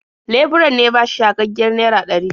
Leburan ne ya bashi yagaggiyar naira ɗari.